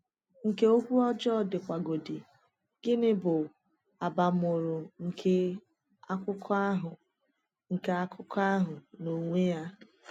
Nke okwu ọjọọ dịwagodị, gịnị bụ abamuru nke akụkọ àhụ nke akụkọ àhụ n’onwe ya?